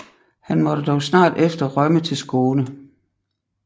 Han måtte dog snart efter rømme til Skåne